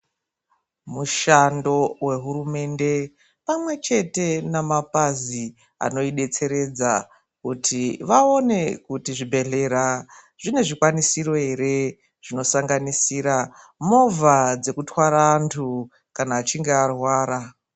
Mushando wehurumende pamwechete nemabazi anoibetseredza kuti vaone kuti zvibhedhlera zvine zvikwanisiro here zvinosanganisira movha dzinotwara antu kana achinge arwara.